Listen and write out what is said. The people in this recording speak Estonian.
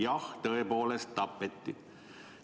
Jah, tõepoolest – ta tapeti.